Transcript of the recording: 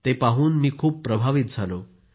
मी ते पाहून खूप प्रभावित झालो